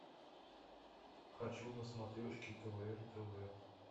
хочу на смотрешке квн тв